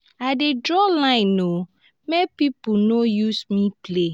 i dey draw line o make pipo no use me play.